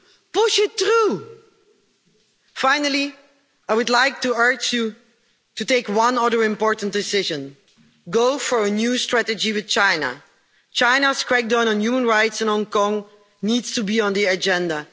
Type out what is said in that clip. Push it through! Finally, I would like to urge you to take one other important decision go for a new strategy with China. China's crackdown on human rights in Hong Kong needs to be on the agenda.